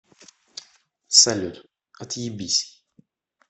салют отъебись